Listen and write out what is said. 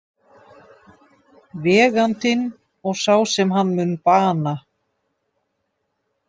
Vegandinn og sá sem hann mun bana.